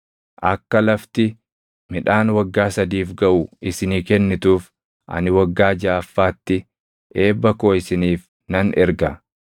Akka lafti midhaan waggaa sadiif gaʼu isinii kennituuf ani waggaa jaʼaffaatti eebba koo isiniif nan erga.